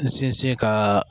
N sinsin ka